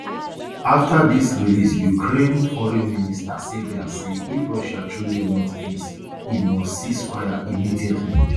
afta dis release ukraine foreign minister sybiha say if russia truly want peace e must cease fire immediately